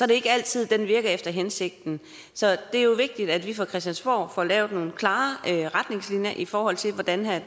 det ikke altid at den virker efter hensigten så det er jo vigtigt at vi fra christiansborg får lavet nogle klare retningslinjer i forhold til hvordan